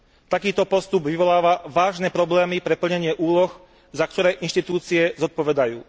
Takýto postup vyvoláva vážne problémy pre plnenie úloh, za ktoré inštitúcie zodpovedajú.